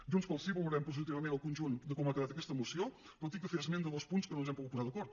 junts pel sí valorem positivament el conjunt de com ha quedat aquesta moció però he de fer esment de dos punts en què no ens hem pogut posar d’acord